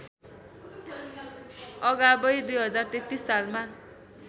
अगावै २०३३ सालमा